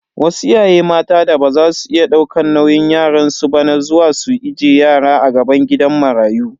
Wasu iyaye mata da baza su iya daukan nauyin yaransu ba na zuwa su ije yaro a gaban gidan marayu.